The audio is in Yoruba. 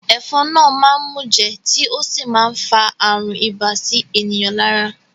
Ẹ̀fọn náà máá ń mùjẹ̀ tí ó sì má ń fa àrùn ibà sí ènìyàn lára